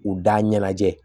U da ɲɛnajɛ